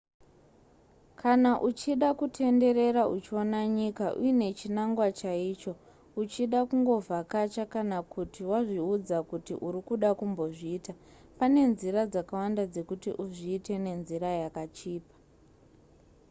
kana uchida kutenderera uchiona nyika uine chinangwa chaicho uchida kungovhakacha kana kuti wazviudza kuti uri kuda kumbozviita pane nzira dzakawanda dzekuti uzviite nenzira yakachipa